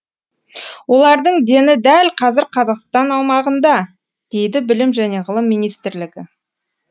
олардың дені дәл қазір қазақстан аумағында дейді білім және ғылым министрлігі